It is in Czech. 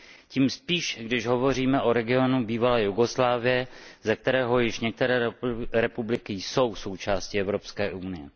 Tím spíše, když hovoříme o regionu bývalé Jugoslávie, ze kterého některé republiky již jsou součástí Evropské unie.